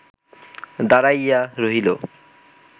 দাঁড়াইয়া রহিল